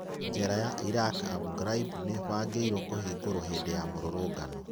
Jera ya Iraq Abu Graib nĩĩbangĩirwo kũhingũrwo hĩndĩ ya mũrũrũngano.